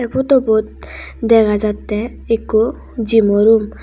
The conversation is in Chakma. eh photo bot dega jattey ekku gymo room .